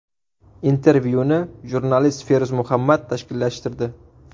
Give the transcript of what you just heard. Intervyuni jurnalist Feruz Muhammad tashkillashtirdi.